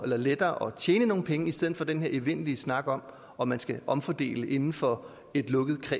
lettere at tjene nogle penge i stedet for den her evindelige snak om om man skal omfordele inden for et lukket